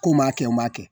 Ko n b'a kɛ n b'a kɛ